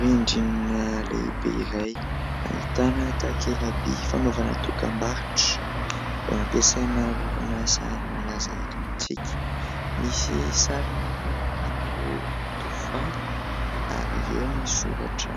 Rindrina lehibe iray ahitana takela-by fanaovana dokam-barotra ampiasaina orinasa malaza eto amintsika. Misy sarina mpanankanto tovovavy ary eo ny soratra